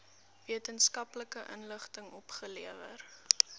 wetenskaplike inligting opgelewer